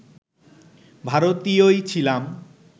ভারতীয়ই ছিলাম